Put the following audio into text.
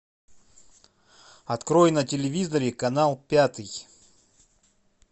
открой на телевизоре канал пятый